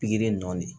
Pikiri in nɔ de